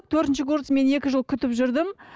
төртінші курс мен екі жыл күтіп жүрдім